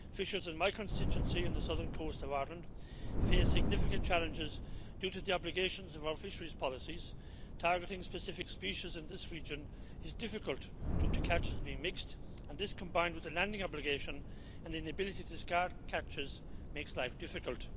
Fishers in my constituency in the southern coast of Ireland face significant challenges due to the obligations of our fisheries policies targeting specific species in this region. It is difficult due to catches being mixed and this, combined with the landing obligation and inability to discard catches, makes life difficult.